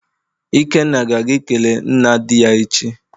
Ikenna ga-aga ikele nna di ya echi.